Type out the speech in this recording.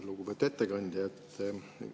Lugupeetud ettekandja!